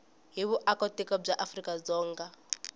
hi vuakatiko bya afrika dzonga